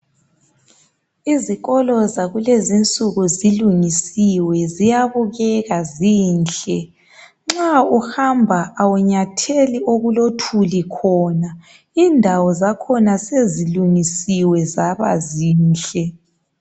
Izikolo zakulezi insuku zilungisiwe, ziyabukeka zinhle. Nxa uhamba awunyatheli okulothuli khona. Indawo zakhona, sezilungisiwe zabazinhle.